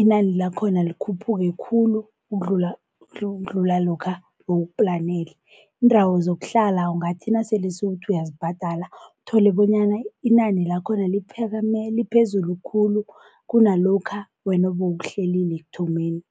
inani lakhona likhuphuke khulu ukudlula ukudlula lokha ebewukuplanele. Iindawo zokuhlala ungathi nasele sewuthi uyazibhadala uthole bonyana inani lakhona liphakame liphezulu khulu kunalokha wena bewukuhlelile ekuthomeni.